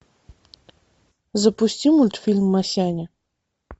запусти мультфильм масяня